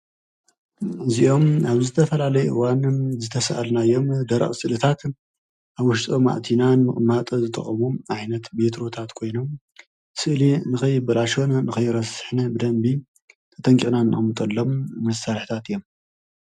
እዚኦም ኣብ ዝተፈላለየ እዋን ዝተሰኣልናዮም ደረቕ ስእልታት ኣብ ውሽጦም ኣእቲና ንምቕማጥ ዝጠቕሙ ዓይነት ቤትሮታት ኮይኖም ስእሊ ንከይበላሾን ንከይረስሕን ብደንቢ ተጠንቂቕና እንቅምጠሎም መሳርሕታት እዮም፡፡